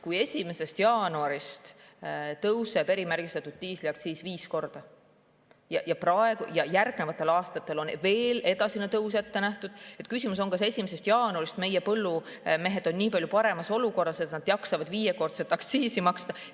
Kui 1. jaanuarist tõuseb erimärgistatud diisli aktsiis viis korda ja järgnevatel aastatel on veel edasinegi tõus ette nähtud, siis tekib küsimus, kas 1. jaanuarist on meie põllumehed nii palju paremas olukorras, et nad jaksavad viiekordset aktsiisi maksta.